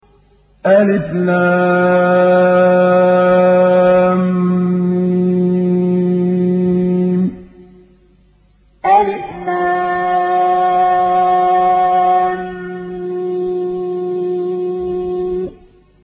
الم الم